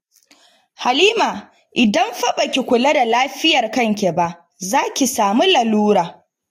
Halima, idan fa ba ki kula da lafiyar kanki ba, za ki samu lalura